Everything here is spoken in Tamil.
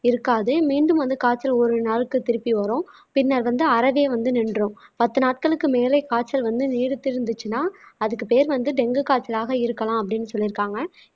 இருக்காது மீண்டும் வந்து காய்ச்சல் ஒரு நாளுக்கு திருப்பி வரும் பின்னர் வந்து அறவே வந்து நின்றும் பத்து நாட்களுக்கு மேலே காய்ச்சல் வந்து நீடித்திருந்துச்சுன்னா அதுக்கு பேர் வந்து டெங்கு காய்ச்சலாக இருக்கலாம் அப்படீன்னு சொல்லியிருக்காங்க